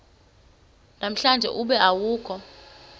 namhlanje ube awukho